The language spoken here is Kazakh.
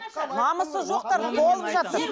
намысы жоқтар толып жатыр